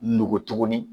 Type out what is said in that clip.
Nogo tuguni